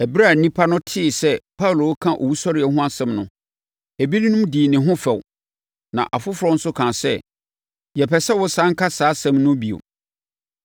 Ɛberɛ a nnipa no tee sɛ Paulo reka owusɔreɛ ho asɛm no, ebinom dii ne ho fɛw, na afoforɔ nso kaa sɛ, “Yɛpɛ sɛ wosane ka saa asɛm no bio.”